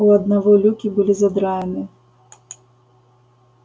у одного люки были задраены